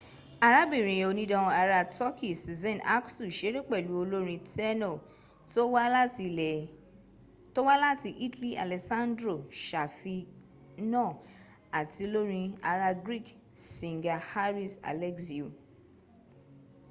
arabirin onidan ara turkeyi sezen aksu seré pẹ̀lú olórin tẹ́nọ̀ tó wá láti italy alessandro safina ati olorin ara greek singer haris alexiou